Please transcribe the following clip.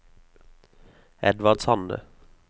Edvard Sande